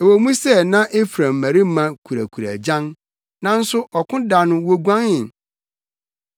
Ɛwɔ mu sɛ na Efraim mmarima kurakura agyan, nanso ɔko da no woguanee;